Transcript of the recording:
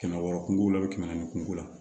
Kɛmɛ wɔɔrɔ kunko la kɛmɛ ni kun ko la